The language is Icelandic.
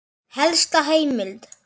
Helsta heimild